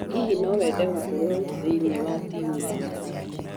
Hihi no wende gũkorũo thĩinĩ wa timũ ya mathako